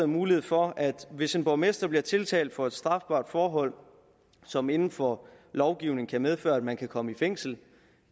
mulighed for hvis en borgmester bliver tiltalt for et strafbart forhold som inden for lovgivningen kan medføre at man kan komme i fængsel